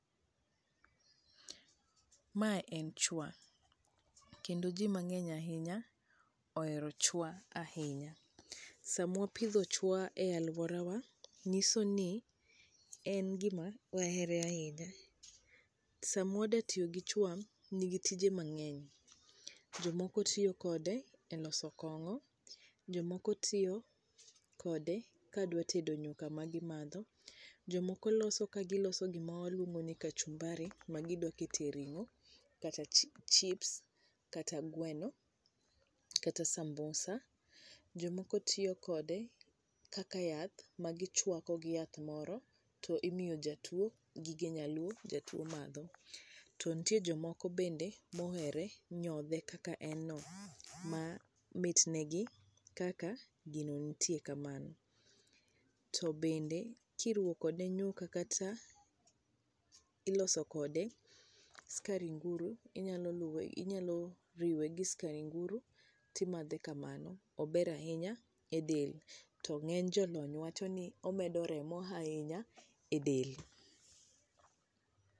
Ma en chwa. Kendo ji mang'eny ahinya ohero chwa ahinya. Sama wapidho chwa e alworawa, nyisoni en gima ohere ahinya. Sama wadwa tiyo gi chwa nigi tije mang'eny. Jomoko tiyo kode e loso kong'o. Jomoko tiyo kode ka dwa tedo nyuka ma gimadho. Jomoko loso kagima loso gima waluongo ni kachumbari ma gidwaro keto e ring'o kata chips, kata gweno, kata sambusa. Jomoko tiyo kode kaka yath ma gichwako gi yath moro, to imiyo jatwo, gige nyaluo to jatwo madho. To nitie jomoko bende ma ohere nyodhe kaka en no, ma mitnegi kaka gino nitie kamano. To bende kiruwo kode nyuka kata iloso kode skari nguru, inyalo luwe, inyalo riwe gi skar nguru to imadhe kamano. Ober ahinya e del. To ng'eny jolony wacho ni omedo remo ahinya e del.